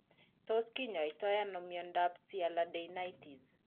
Tos kinyaita ano miondap sialadenitis?